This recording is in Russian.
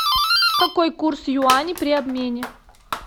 какой курс юаней при обмене